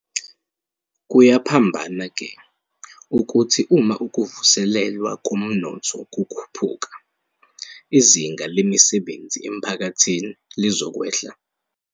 Kuyaphambana-ke, ukuthi uma ukuvuselelwa komnotho kukhuphuka, izinga lemisebenzi emphakathini lizokwehla.